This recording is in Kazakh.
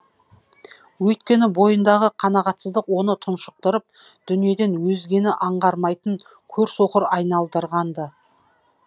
өйткені бойындағы қанағатсыздық оны тұншықтырып дүниеден өзгені аңғармайтын көр соқыр айналдырған ды